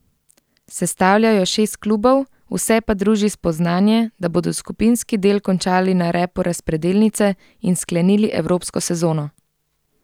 Sestavlja jo šest klubov, vse pa druži spoznanje, da bodo skupinski del končali na repu razpredelnice in sklenili evropsko sezono.